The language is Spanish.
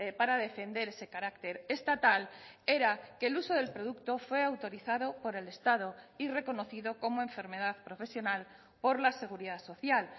para defender ese carácter estatal era que el uso del producto fue autorizado por el estado y reconocido como enfermedad profesional por la seguridad social